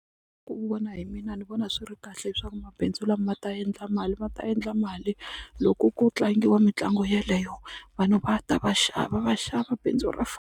Ku vona hi mina ni vona swi ri kahle leswaku mabindzu lama ma ta endla mali ma ta endla mali loko ku tlangiwa mitlangu yeleyo vanhu va ta va xava va xava bindzu ra .